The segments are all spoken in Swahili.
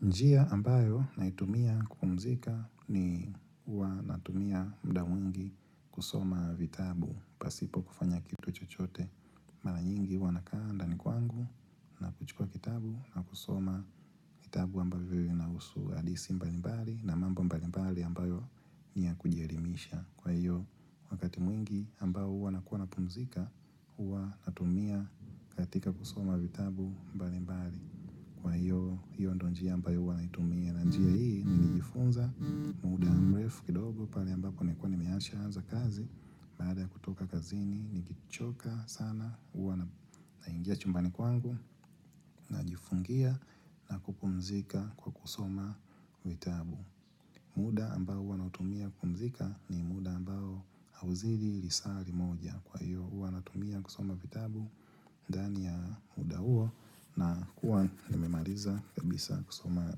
Njia ambayo naitumia kupumzika ni huwa natumia muda mwingi kusoma vitabu pasipo kufanya kitu chochote. Mara nyingi huwa nakaa ndani kwangu na kuchukua kitabu na kusoma vitabu ambavyo inahusu hadithi mbalimbali na mambo mbalimbali ambayo ni ya kujielimisha. Kwa hiyo wakati mwingi ambao huwa nakuwa napumzika huwa natumia katika kusoma vitabu mbalimbali. Kwa hiyo hiyo ndio njia ambayo huwa naitumia na njia hii nilijifunza muda mrefu kidogo pale ambako nilikuwa nimeshaanza kazi baada ya kutoka kazini nikichoka sana huwa naingia chumbani kwangu najifungia na kupumzika kwa kusoma vitabu. Muda ambao huwa nautumia kupumzika ni muda ambao hauzidi lisaa limoja. Kwa hiyo huwa natumia kusoma vitabu ndani ya muda huo nakuwa nimemaliza kabisa kusoma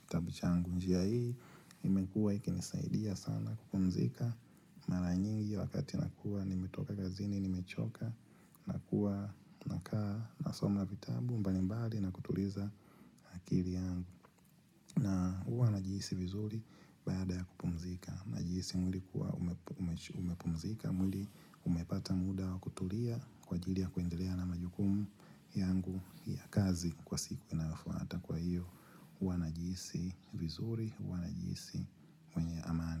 kitabu changu. Njia hii imekuwa ikinisaidia sana kupumzika. Mara nyingi wakati nakuwa nimetoka kazini, nimechoka, nakuwa nakaa nasoma vitabu mbalimbali na kutuliza na akili yangu. Na huwa najihisi vizuri baada ya kupumzika. Najihisi mwili umepumzika. Mwili umepata muda wa kutulia kwa ajili ya kuendelea na majukumu yangu ya kazi kwa siku inayofuata. Kwa hiyo huwa najihisi vizuri huwa najihisi mwenye amani.